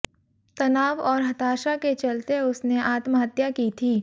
तनाव और हताशा के चलते उसने आत्महत्या की थी